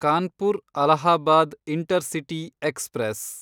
Kanpur Allahabad intercity express